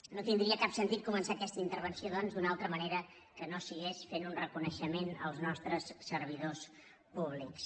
no tindria cap sentit començar aquesta intervenció doncs d’una altra manera que no fos fent un reconei·xement als nostres servidors públics